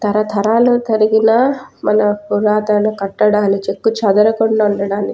తరతరాలు తరిగిన మన పురాతన కట్టడాని చెక్కు చెదరకుండా వుండడాని --